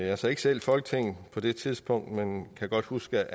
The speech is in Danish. jeg sad ikke selv i folketinget på det tidspunkt men kan godt huske